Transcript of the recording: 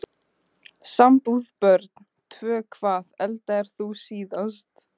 Sambúð Börn: Tvö Hvað eldaðir þú síðast?